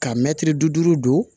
Ka mɛtiri bi duuru don